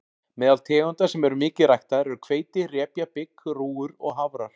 Meðal tegunda sem eru mikið ræktaðar eru hveiti, repja, bygg, rúgur og hafrar.